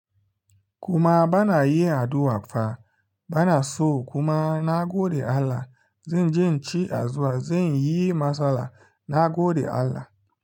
Kuma banayin addu'a fa, banaso kuma nagode Allah. Zanje in ci addu'a, zanyi matsala na godewa Allah.